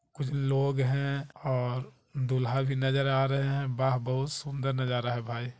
कुछ लोग है और दूल्हा भी नज़र आ रहा है बाह बहुत सुंदर नज़ारा है भाई।